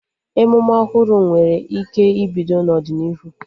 Emume ọhụrụ nwere ike ibido n'ọdịnihu